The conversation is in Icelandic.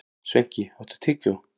Sveinki, áttu tyggjó?